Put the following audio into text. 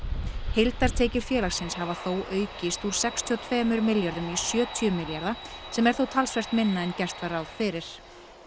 heildartekjur félagsins hafa þó aukist úr sextíu og tveimur milljörðum króna í sjötíu milljarða sem er þó talsvert minna en gert var ráð fyrir